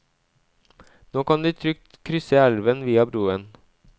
Nå kan de trygt krysse elven via broen.